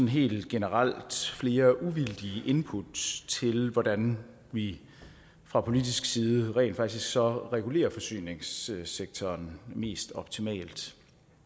helt generelt flere uvildige input til hvordan vi fra politisk side rent faktisk så regulerer forsyningssektoren mest optimalt